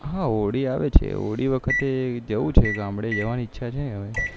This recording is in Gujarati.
હા હોલીં આવે છે હોળી વખતે જવું છે ગામડે જવાની ઈચ્છા છે હવે